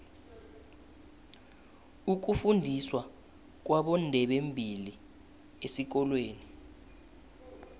ukufundiswa kwabondebembili esikolweni